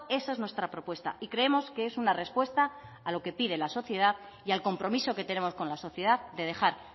esa es nuestra propuesta y creemos que es una respuesta a lo que pide la sociedad y al compromiso que tenemos con la sociedad de dejar